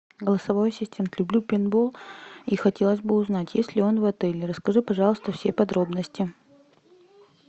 голосовой ассистент люблю пейнтбол и хотелось бы узнать есть ли он в отеле расскажи пожалуйста все подробности